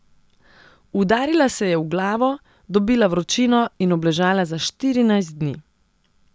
Udarila se je v glavo, dobila vročino in obležala za štirinajst dni.